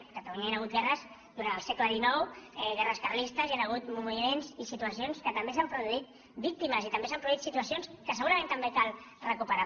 a catalunya hi han hagut guerres durant el segle han hagut moviments i situacions en què també s’han produït víctimes i també s’han produït situacions que segurament també cal recuperar